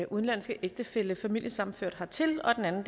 udenlandske ægtefælle familiesammenført hertil den anden